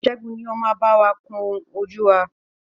Ṣẹ́gun ni o ma báwa kún ojú wá.